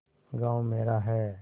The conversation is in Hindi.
गॉँव मेरा है